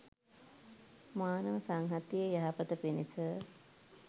මානව සංහතියේ යහපත පිණිස